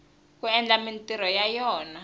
ku endla mintirho ya yona